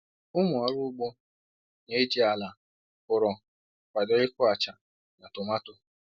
Ụmụ ọrụ ugbo na-eji ala ụrọ kwado ịkụ acha na tomato